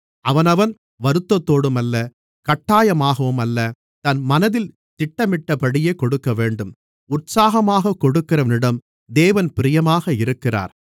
அவனவன் வருத்தத்தோடும் அல்ல கட்டாயமாகவும் அல்ல தன் மனதில் திட்டமிட்டபடியே கொடுக்கவேண்டும் உற்சாகமாகக் கொடுக்கிறவனிடம் தேவன் பிரியமாக இருக்கிறார்